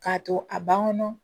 K'a to a ban kɔnɔ